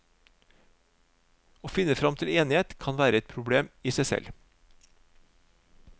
Å finne frem til enighet kan være et problem i seg selv.